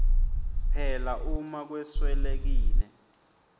phela uma kweswelekile